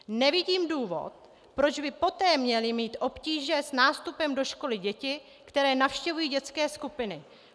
Nevidím důvod, proč by poté měly mít obtíže s nástupem do školy děti, které navštěvují dětské skupiny.